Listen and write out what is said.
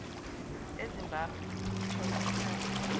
ezimbabwe ukuthola ikhambi